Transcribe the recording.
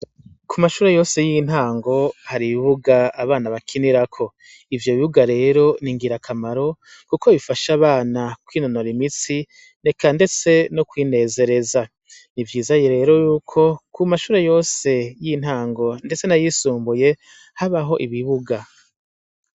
Ku mashure yose y'intango hari ibibuga abana bakinirako ivyo bibuga rero ningira akamaro, kuko bifashe abana kwinonora imitsi neka, ndetse no kwinezereza ni vyizaye rero yuko ku mashure yose y'intango, ndetse nayisumbuye habaho ibibuga.